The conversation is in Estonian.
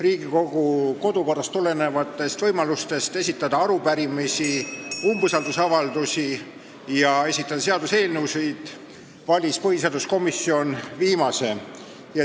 Riigikogu kodukorrast tulenevalt on võimalik esitada arupärimisi, umbusaldusavaldusi ja seaduseelnõusid, millest põhiseaduskomisjon valis viimase.